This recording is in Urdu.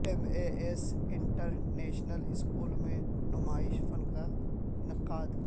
M A S international school میں نمائش فن کا انعقاد